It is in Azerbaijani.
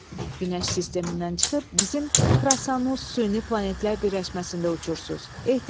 Günəş sistemindən çıxıb bizim Krasanus süni planetlər birləşməsində uçursuz.